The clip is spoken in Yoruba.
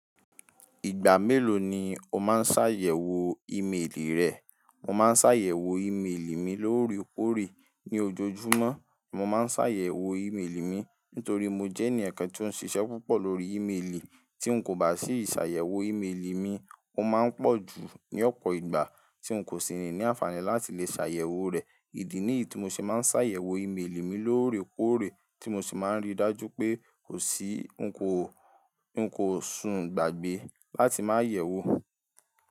Ìgbà mélòó ni o máa ń ṣàyẹ̀wò ímélì rẹ? Mo máa ń ṣàyẹ̀wò ímélì mi lóòrèkóòrè ní ojoojúmọ́. Mo máa ń ṣàyẹ̀wò ímélì mi nítorí mo jẹ́ ẹni ẹ̀kẹ́ tí ó ń ṣiṣẹ́ púpọ̀ lórí ímélì. Tí n kò bá sì ṣàyẹ̀wò ímélì mi, ó máa ń pọ̀ ju ní ọ̀pọ̀ ìgbà tí n kò sì ní àǹfààní láti lè ṣàyẹ̀wò rẹ̀. Ìdí ní ì tí mo ṣe máa ń ṣàyẹ̀wò ímélì mi lóòrèkóòrè tí mo sì máa ń rí dájú pé kò sí n kò, nkò sùn gbàgbé láti máa yẹ̀wò.